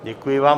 Děkuji vám.